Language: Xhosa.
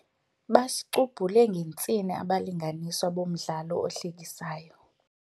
Basicubhule ngentsini abalinganiswa bomdlalo ohlekisayo.